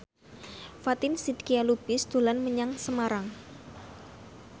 Fatin Shidqia Lubis dolan menyang Semarang